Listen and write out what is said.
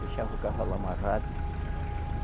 Deixava o cavalo amarrado.